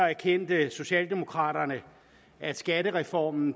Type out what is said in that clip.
erkendte socialdemokraterne at skattereformen